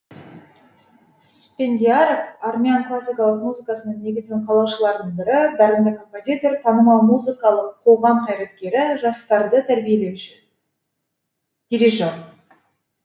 спендиаров армян классикалық музыкасының негізін қалаушылардың бірі дарынды композитор танымал музыкалық қоғам қайраткері жастарды тәрбиелеуші дирижер